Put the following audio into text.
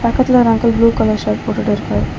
பக்கத்துல ஒரு uncle blue colour shirt போட்டுட்ருக்கார்.